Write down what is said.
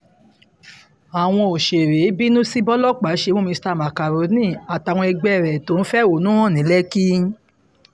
àwọn òṣèré bínú sí bòlòpàá ṣe mú mr macaroni àtàwọn ẹgbẹ́ ẹ̀ tó fẹ̀hónú hàn ní lẹ́kì